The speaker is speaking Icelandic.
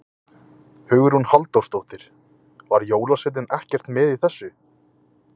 Hugrún Halldórsdóttir: Var jólasveinninn ekkert með í þessu?